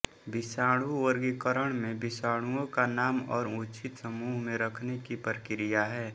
विषाणु वर्गीकरण में विषाणुओं का नाम और उचित समूह में रखने की प्रक्रिया है